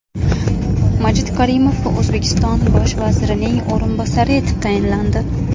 Majid Karimov O‘zbekiston bosh vazirining o‘rinbosari etib tayinlandi.